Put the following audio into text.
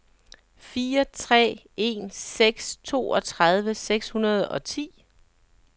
fire tre en seks toogtredive seks hundrede og ti